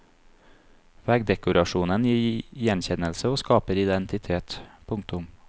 Veggdekorasjonen gir gjenkjennelse og skaper identitet. punktum